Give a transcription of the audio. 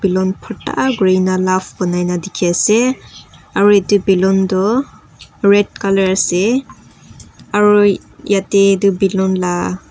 ballon bhorta kurina love banai na dekhi asey aro etu ballon toh red colour asey aro yate etu ballon la--